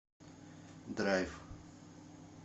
драйв